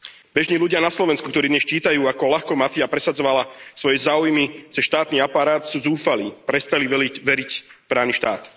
Bežní ľudia na Slovensku, ktorí dnes čítajú, ako ľahko mafia presadzovala svoje záujmy cez štátny aparát, sú zúfalí, prestali veriť v právny štát.